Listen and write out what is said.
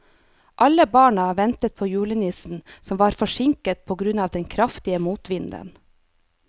Alle barna ventet på julenissen, som var forsinket på grunn av den kraftige motvinden.